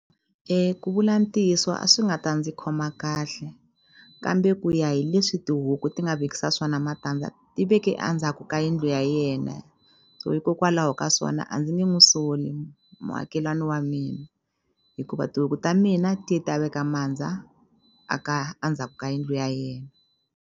Ku vula ntiyiso a swi nga ta ndzi khoma kahle kambe ku ya hi leswi tihuku ti nga vekisa swona matandza ti veke a ndzhaku ka yindlu ya yena hikokwalaho ka swona a ndzi nge n'wu soli muakelani wa mina hikuva tihuku ta mina ti ta veka mandza a ka a ndzhaku ka yindlu ya yena.